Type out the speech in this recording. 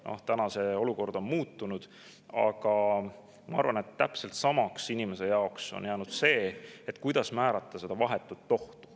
Nüüd see olukord on muutunud, aga ma arvan, et inimese jaoks on täpselt samaks jäänud küsimus, kuidas määrata vahetut ohtu.